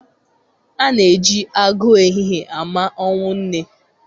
Ana-eji agụụ ehihie ama ọnwụ nne